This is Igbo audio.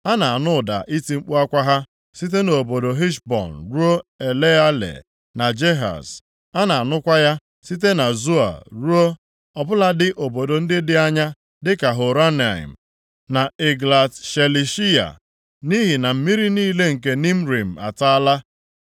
“A na-anụ ụda iti mkpu akwa ha site nʼobodo Heshbọn ruo Eleale, na Jehaz. A na-anụkwa ya site na Zoa ruo, ọ bụladị obodo ndị dị anya, dịka Horonaim, na Eglat Shelishiya. Nʼihi na mmiri niile nke Nimrim ataala.